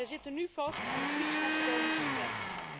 Zij zitten nu vast aan de Grieks Macedonische grens.